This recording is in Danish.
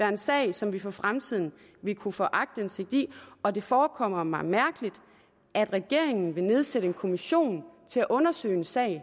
en sag som vi for fremtiden ville kunne få aktindsigt i og det forekommer mig mærkeligt at regeringen vil nedsætte en kommission til at undersøge en sag